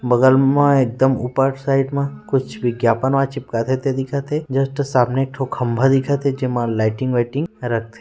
बगल मा एकदम ऊपर साइड मा कुछ विज्ञापन चिपकता वा दिखत है जस्ट सामने एक ठो खंबा दिखत थे जिम मा लाइटिंग वाइटिं